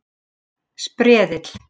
Sperðli